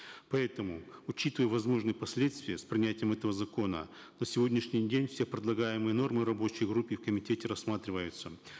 поэтому учитывая возможные последствия с принятием этого закона на сегодняшний день все предлагаемые нормы в рабочей группе и комитете рассматриваются